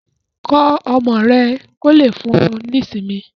Kọ́ ọmọ rẹ kò lè fún ọ ní ìsinmi